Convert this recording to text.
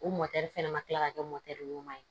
U fɛnɛ ma kila ka kɛ ɲuman ye